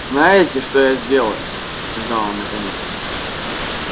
знаете что я сделаю сказал он наконец